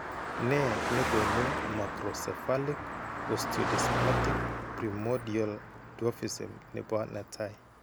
Nee nekoonu microcephalic osteodysplastic primordial dwarfism nebo 1 ?